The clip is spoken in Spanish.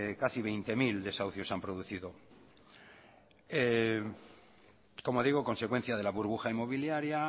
casi veinte mil se han producido como digo consecuencia de la burbuja inmobiliaria